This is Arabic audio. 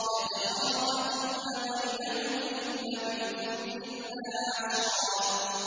يَتَخَافَتُونَ بَيْنَهُمْ إِن لَّبِثْتُمْ إِلَّا عَشْرًا